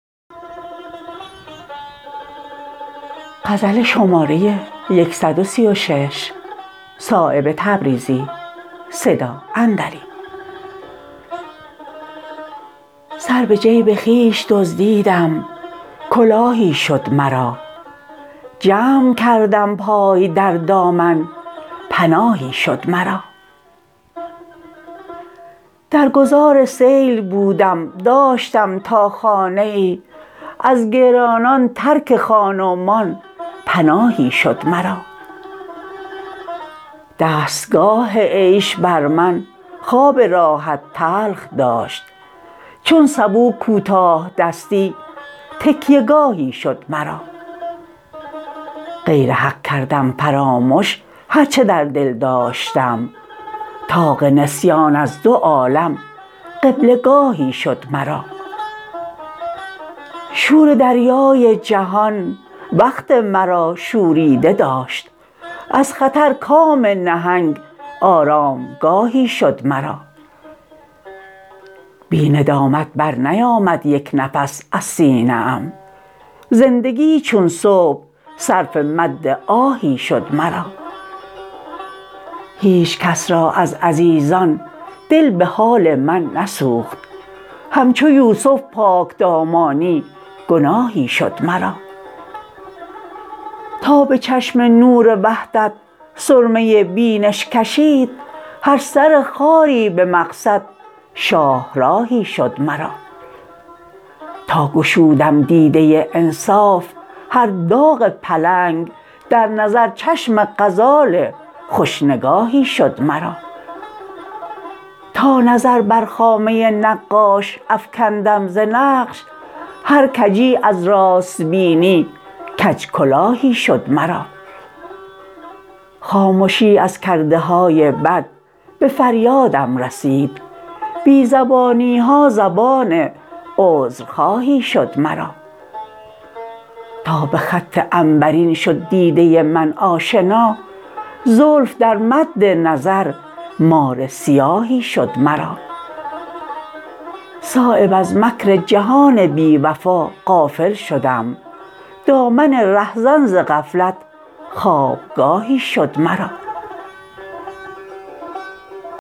سر به جیب خویش دزدیدم کلاهی شد مرا جمع کردم پای در دامن پناهی شد مرا در گذار سیل بودم داشتم تا خانه ای از گرانان ترک خان و مان پناهی شد مرا دستگاه عیش بر من خواب راحت تلخ داشت چون سبو کوتاه دستی تکیه گاهی شد مرا غیر حق کردم فرامش هر چه در دل داشتم طاق نسیان از دو عالم قبله گاهی شد مرا شور دریای جهان وقت مرا شوریده داشت از خطر کام نهنگ آرامگاهی شد مرا بی ندامت برنیامد یک نفس از سینه ام زندگی چون صبح صرف مد آهی شد مرا هیچ کس را از عزیزان دل به حال من نسوخت همچو یوسف پاکدامانی گناهی شد مرا تا به چشم نور وحدت سرمه بینش کشید هر سر خاری به مقصد شاهراهی شد مرا تا گشودم دیده انصاف هر داغ پلنگ در نظر چشم غزال خوش نگاهی شد مرا تا نظر بر خامه نقاش افکندم ز نقش هر کجی از راست بینی کج کلاهی شد مرا خامشی از کرده های بد به فریادم رسید بی زبانی ها زبان عذرخواهی شد مرا تا به خط عنبرین شد دیده من آشنا زلف در مد نظر مار سیاهی شد مرا صایب از مکر جهان بی وفا غافل شدم دامن رهزن ز غفلت خوابگاهی شد مرا